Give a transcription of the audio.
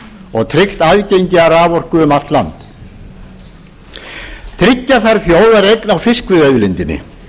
og tryggt aðgengi að raforku um allt land tryggja þarf þjóðareign á fiskveiðiauðlindinni